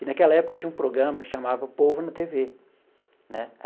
E naquela época tinha um programa que chamava Povo na tê vê né.